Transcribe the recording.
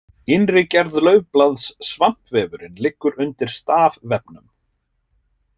Innri gerð laufblaðs Svampvefurinn liggur undir stafvefnum.